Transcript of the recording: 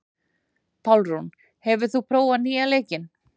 Pálrún, hefur þú prófað nýja leikinn?